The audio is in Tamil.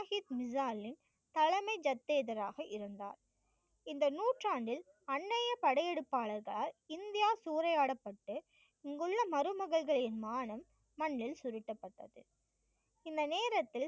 சாஹிப் மிஸாலின் தலைமை சத்யராக இருந்தார். இந்த நூற்றாண்டில் அண்ணையப் படையெடுப்பாளர்களால் இந்தியா சூறையாடப்பட்டு இங்கு உள்ள மருமகள்களின் மானம் மண்ணில் சுருட்டப்பட்டது. இந்த நேரத்தில்